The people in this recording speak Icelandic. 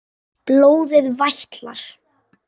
Blóðið vætlar.